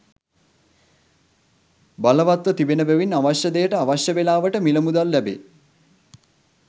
බලවත්ව තිබෙන බැවින් අවශ්‍ය දෙයට අවශ්‍ය වේලාවට මිල මුදල් ලැබේ.